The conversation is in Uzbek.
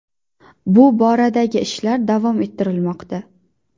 Bu boradagi ishlar davom ettirilmoqda.